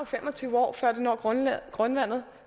fem og tyve år før det når grundvandet